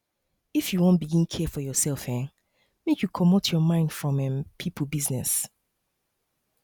if you wan begin care for yoursef um make you comot your mind from um pipo business